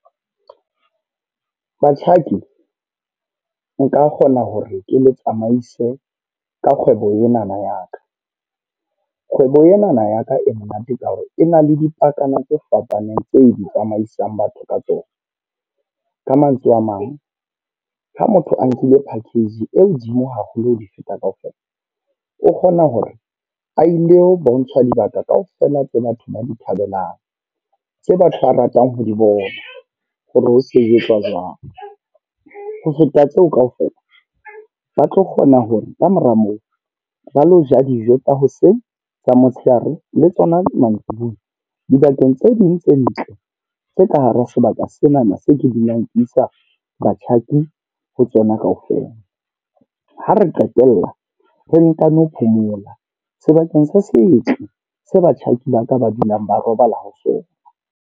Batjhaki nka kgona hore ke le tsamaise ka kgwebo enana ya ka. Kgwebo enana ya ka e monate ka hore, e na le dipakana tse fapaneng tse di tsamaisang batho ka tsona. Ka mantswe a mang, ha motho a nkile package e hodimo haholo ho feta kaofela. O kgona hore a ilo bontshwa dibaka kaofela tse batho ba di thabelang. Tse batho ba ratang ho di bona, hore ho sebetswa jwang. Ho feta tseo kaofela ba tlo kgona hore kamora moo, ba lo ja dijo tsa hoseng, tsa motshehare, le tsona mantsibuya. Dibakeng tse ding tse ntle, tse ka hare ho sebaka senana se ke dulang ke isa batjhaki ho tsona kaofela. Ha re qetella re ntano phomola sebakeng se setle se batjhaki ba ka ba dulang ba robala ho sona.